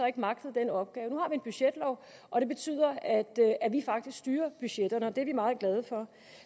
ikke magtede den opgave nu en budgetlov og det betyder at vi faktisk styrer budgetterne og det er vi meget glade for